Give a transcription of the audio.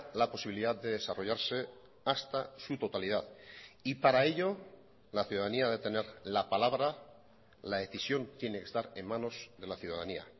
la posibilidad de desarrollarse hasta su totalidad y para ello la ciudadanía a de tener la palabra la decisión tiene que estar en manos de la ciudadanía